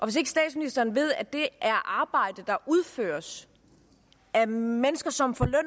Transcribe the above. hvis ikke statsministeren ved at det er arbejde der udføres af mennesker som får løn